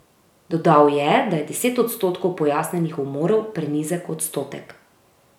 Dodal je, da je deset odstotkov pojasnjenih umorov prenizek odstotek.